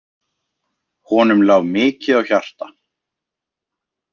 Honum lá mikið á hjarta.